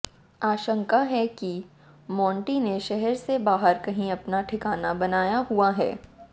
आशंका है कि मोंटी ने शहर से बाहर कहीं अपना ठिकाना बनाया हुआ है